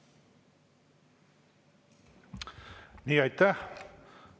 Nii, aitäh!